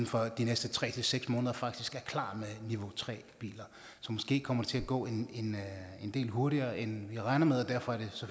for de næste tre seks måneder faktisk er klar med niveau tre biler så måske kommer det til at gå en del hurtigere end vi regner med og derfor er det